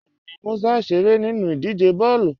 Bẹẹni, Músà n ṣeré nínu idíje bọọlu.